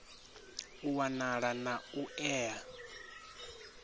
u wanala na u ea